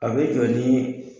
A bɛ jɔ ni